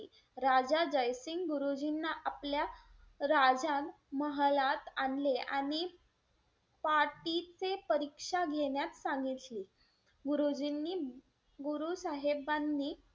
राजा जय सिंग गुरुजींना आपल्या राजन महालात आणले आणि पाटीचे परीक्षा घेण्यास सांगितले. गुरुजींनी गुरु साहेबांनी,